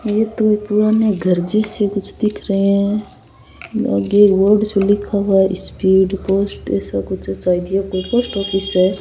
ये तो पुराने घर जैसे कुछ दिख रे है आगे एक बोर्ड्स सु लिखा हुआ है स्पीड पोस्ट ऐसा कुछ कोई पोस्ट ऑफिस है।